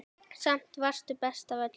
Samt varstu best af öllum.